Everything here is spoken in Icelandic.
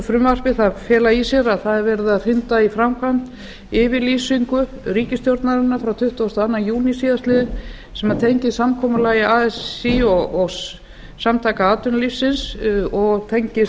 frumvarpi fela í sér að það er verið að hrinda í framkvæmd yfirlýsingu ríkisstjórnarinnar frá tuttugasta og öðrum júní síðastliðinn sem tengist samkomulagi así og sa og tengist